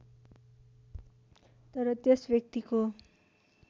तर त्यस व्यक्तिको